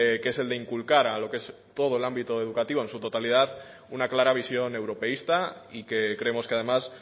que es el de inculcar a lo que es todo el ámbito educativo en su totalidad una clara visión europeísta y que creemos que además